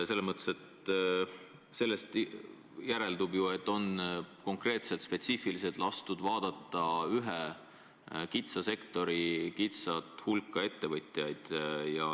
Sellest järeldub ju, et on konkreetselt, spetsiifiliselt lastud vaadata ühe kitsa sektori kitsast hulka ettevõtjaid.